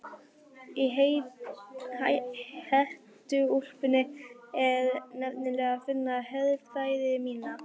Í hettuúlpunni er nefnilega að finna herfræði mína.